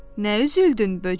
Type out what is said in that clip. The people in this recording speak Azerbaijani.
Nə üzüldün, böcək?